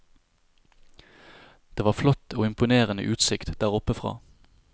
Det var flott og imponerende utsikt der oppe fra.